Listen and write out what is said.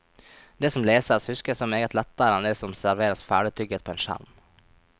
Det som leses, huskes så meget lettere enn det som serveres ferdigtygget på en skjerm.